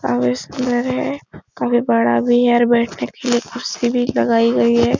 काफी सुन्दर है काफी बड़ा भी है और बेठने के लिये कुर्सी भी लगाई गयी है।